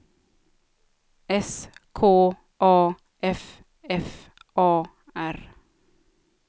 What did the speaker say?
S K A F F A R